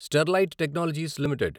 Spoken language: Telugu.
Sterlite Technologies limited